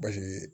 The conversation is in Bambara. Basi ye